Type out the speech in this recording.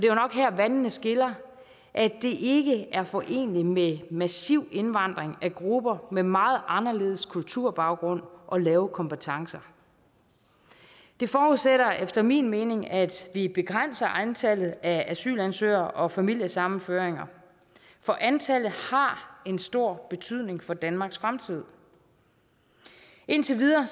jo nok her vandene skiller at det ikke er foreneligt med massiv indvandring af grupper med meget anderledes kulturbaggrund og lave kompetencer det forudsætter efter min mening at vi begrænser antallet af asylansøgere og familiesammenføringer for antallet har en stor betydning for danmarks fremtid indtil videre